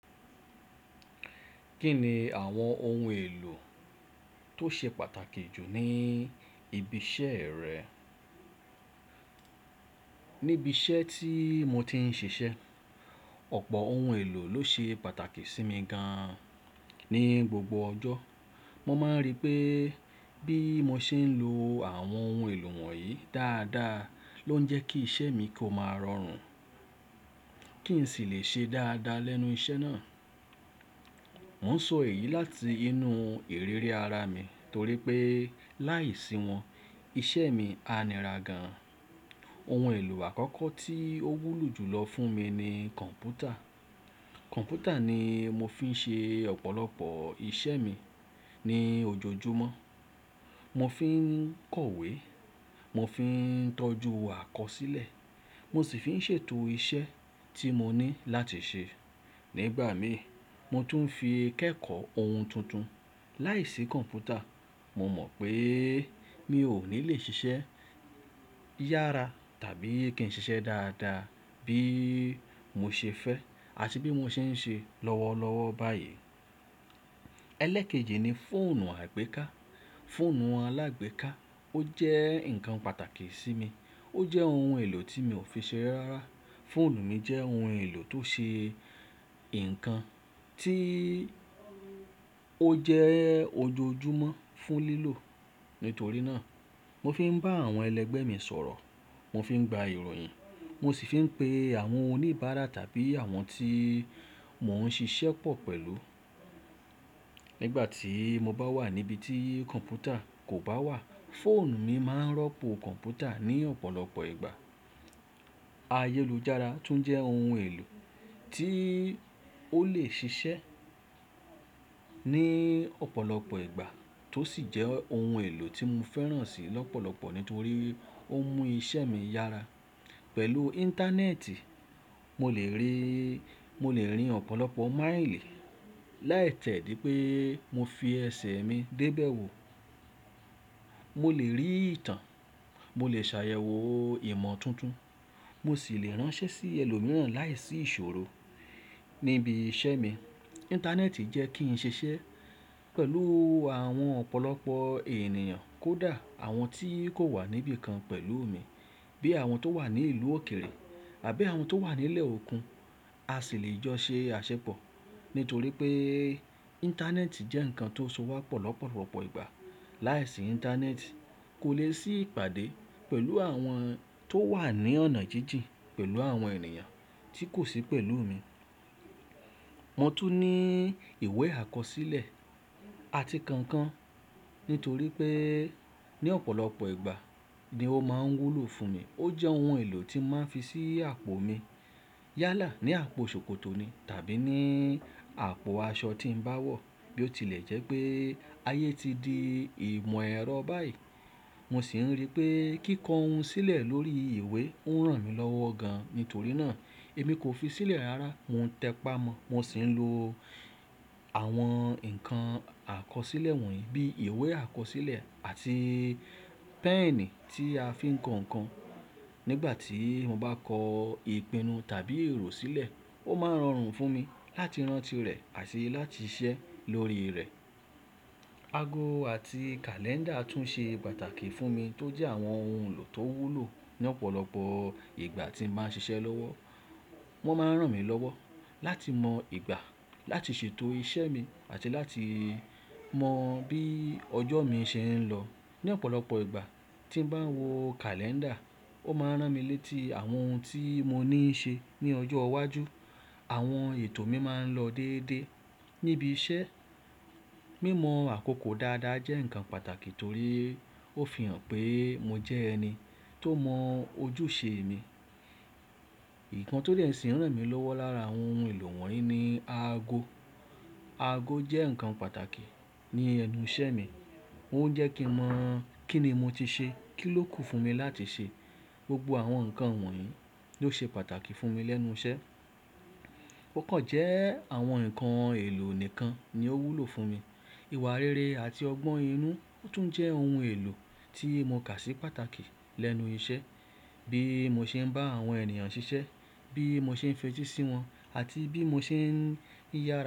Kí ni àwọn ohun èlò tó ṣe pàtàkì jù ní ibi iṣẹ́ rẹ? Níbi iṣẹ́ tí mo ti ń ṣiṣẹ́, ọ̀pọ̀ ohun èlò ló ṣe pàtàkì sí mi gan-an. Ní gbogbo ọjọ́, mo máa ń rí pé bí mo ṣe ń lo àwọn ohun ẹ̀lọ̀ wọ̀nyí dáadáa ló ń jẹ́ kí iṣẹ́ mi kó máa rọrùn, kí n sì le ṣe dáadáa lẹ́nu iṣẹ́ náà. Mo ń sọ èyí láti inú ìrírí ara mi torí pé láìsí wọn, iṣẹ́ mi a níra gan an. Ohun èlò àkọ́kọ́ tí ó wúlò jùlọ fún mi ni kọ̀ǹpútà. Kọ̀ǹpútà ni mo fi ń ṣe ọ̀pọ̀lọpọ̀ iṣẹ́ mi ní ojoojúmọ́. Mo fi ń kọ̀wé, mo fi ń tọju àkọsílẹ̀, mo sì fi ń ṣètò iṣẹ́ tí mo ní láti ṣe. Ní igbà mi, mo tún fi ń kẹ́kọ̀ọ́ ohun tuntun. Láìsí kọ̀ǹpútà, mo mọ̀ pé mi ò ní lè ṣiṣẹ́ yára tàbí kí n ṣiṣẹ́ dáadáa bí mo ṣe fẹ́ àti bí mo ṣe ń ṣe lọ́wọ́lọ́wọ́ báyìí. Ẹlẹkeji ni fóònù àgbéká. Fóònù alágbéká ó jẹ́ nǹkan pàtàkì sí mi. Ó jẹ́ ohun èlò tí mi ò fi seré rárá. Fóònù mi jẹ́ ohun èlò tó ṣe nǹkan tí ó jẹ́ ojoojúmọ́ fún lílò. Nítorí náà, mo fi ń bá àwọn ẹlẹgbẹ́ mi sọ̀rọ̀, mo fi ń gba ìròyìn, mo sì fi ń pe àwọn oníbàárà tàbí àwọn tí mò ń ṣiṣẹ́ pọ̀ pẹ̀lú. Nígbà tí mo bá wà níbi tí kọ̀ǹpútà kò bá wà, fóònù mi máa ń rọ́pò kọ̀ǹpútà ní ọ̀pọ̀lọpọ̀ ìgbà. Ayélujára tún jẹ́ ohun èlò tí ó lè ṣiṣẹ́ ní ọ̀pọ̀lọpọ̀ ìgbà tó sì jẹ́ ohun èlò tí mo fẹ́ràn sì lọ́pọ̀lọpọ̀ nítorí ó mú iṣẹ́ mi yára. Pẹ̀lú íńtánẹ́ẹ̀tì, mo lè rín, mo lè rin ọ̀pọ̀lọpọ̀ máílì láìtẹ́ dí pé mo fi ẹsẹ̀ mi dé ibẹ̀ wò. Mo lè rí ìtàn, mo lè ṣàyẹ̀wò ìmọ̀ tuntun, mo sì lè ránṣẹ́ sí ẹlòmíràn láìsí ìṣòro níbi iṣẹ́ mi. Íńtánẹ́ẹ̀tì jẹ́ kí n ṣiṣẹ́ pẹ̀lú àwọn ọ̀pọ̀lọpọ̀ ènìyàn kódà àwọn tí kò wà níbí kan pẹ̀lú mi. Bí i àwọn tó wà ní ìlú òkèrè àbí àwọn tó wà nílẹ̀ okùn, a sì lè jọ ṣe aṣẹpọ̀ nítorí pé íńtánẹ́ẹ̀tì jẹ́ nǹkan tó so wá pọ̀ lọ́pọ̀lọpọ̀ ìgbà. Láìsí íńtánẹ́ẹ̀tì, kò lè sí ìpàdé pẹ̀lú àwọn tó wà ní ọ̀nà jíjìn, pẹ̀lú àwọn ènìyàn tí kò sí pẹ̀lú mi. Wọ́n tún ní ìwé àkọsílẹ̀ àti kankan nítorí pé ní ọ̀pọ̀lọpọ̀ ìgbà ni ó máa ń wúlò fún mi. Ó jẹ́ ohun èlò tí màá fi ṣí àpò mi. Yálà ní àpò ṣòkòtò ni tàbí ní àpò aṣọ tí ń bá wọ̀. Bí ó tilẹ̀ jẹ́ pé ayé ti di ìmọ̀ ẹ̀rọ báyìí, mo sì ń rí pé kíkọ ohun sílẹ̀ lórí ìwé ń ràn mí lọ́wọ́ gan-an. Nítorí náà, èmi kò fi sílẹ̀ rará, mò ń tẹpá mọ́. Mo sì ń lo àwọn ǹkan àkọsílẹ̀ wọ̀nyí bíi ìwé àkọsílẹ̀ àti pẹ́ẹ̀ní tí a fi ń kọ ǹkan. Nígbà tí mo bá kọ ìpinnu tàbí èrò sílẹ̀, ó máa ń rọrùn fún mi láti rántí rẹ̀ àti láti ṣiṣẹ́ lórí rẹ̀. Ago àti kàlẹ́ńdà tún ṣe pàtàkì fún mi tó jẹ́ àwọn ohun èlò tó wúlò ní ọ̀pọ̀lọpọ̀ ìgbà tí màá n ṣiṣẹ́ lọ́wọ́. Wọ́n máa ń ràn mí lọ́wọ́ láti mọ ìgbà láti ṣètò iṣẹ́ mi àti láti mọ bí ọjọ́ mi ṣe ń lọ. Ní ọ̀pọ̀lọpọ̀ ìgbà tí ń bá wo kàlẹ́ńdà, ó máa ń ràn mí létí àwọn ohun tí mo ní í ṣe ní ọjọ́ iwájú. Àwọn ètò mi máa ń lọ déédéé níbi iṣẹ́. Mímọ àkókò dáadáa jẹ́ nǹkan pàtàkì torí ó fi hàn pé mo jẹ́ ẹni tó mọ ojúṣe mi. Ìkàn tí lè sì ń ràn mí lọ́wọ́ lára àwọn ohun èlò wọ̀nyí ni aago. Ago jẹ́ nǹkan pàtàkì ní ẹnu iṣẹ́ mi. Ó ń jẹ́ kí mo mọ̀ kín ni mo ti ṣe, kí ló kù fún mi láti ṣe. Gbogbo àwọn nǹkan wọ̀nyí ló ṣe pàtàkì fún mi lẹ́nu iṣẹ́. Ó kàn jẹ́ àwọn nǹkan èlò nìkan ni ó wúlò fún mi. Ìwà rere àti ọgbọ́n inú tún jẹ́ ohun èlò tí mo kà sí pàtàkì lẹ́nu iṣẹ́. Bí mo ṣe ń bá àwọn ènìyàn ṣiṣẹ́, bí mo ṣe ń fetí sí wọn àti bí mo ṣe ń yára.